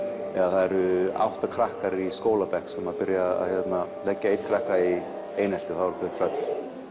það eru átta krakkar í skólabekk sem byrja að leggja einn krakka í einelti þá eru þau tröll